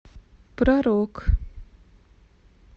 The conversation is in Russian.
про рок